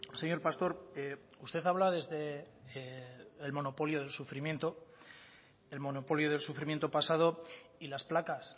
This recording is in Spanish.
señor pastor usted habla desde el monopolio del sufrimiento el monopolio del sufrimiento pasado y las placas